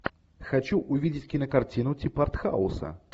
хочу увидеть кинокартину типа артхауса